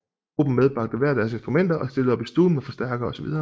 Gruppen medbragte hver deres instrumenter og stillede op i stuen med forstærkere osv